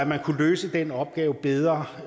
man kunne løse den opgave bedre